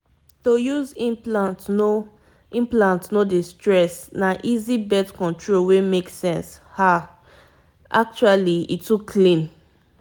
implant mata b saye dey release hormone small-smallwey dey help make birth control easy um u sabi m small pause.